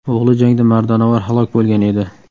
O‘g‘li jangda mardonavor halok bo‘lgan edi.